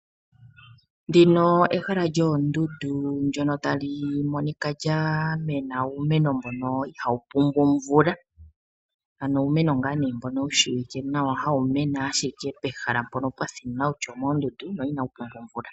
Ndino ehala lyoondundu ndyono tali monika lya mena uumeno mbono ihawu pumbwa omvula ano uumeno mbono wu shiwike nawa hawu mene ashike pehala mpono pwathina kutya omoondundu no inawu pumbwa omvula.